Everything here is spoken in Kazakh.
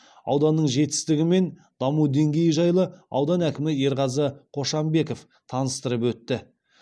ауданның жетістігімен даму деңгейі жайлы аудан әкімі ерғазы қошанбеков таныстырып өтті